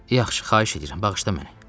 Yaxşı, xahiş edirəm, bağışla məni.